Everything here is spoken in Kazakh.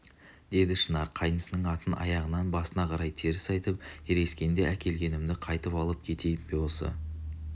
деді шынар қайнысының атын аяғынан басына қарай теріс айтып ерегіскенде әкелгенімді қайта алып кетейін бе осы